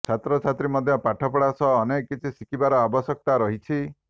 ଛାତ୍ରଛାତ୍ରୀ ମଧ୍ୟ ପାଠପଢ଼ା ସହ ଅନେକ କିଛି ଶିଖିବାର ଆବଶ୍ୟକତା ରହିଛି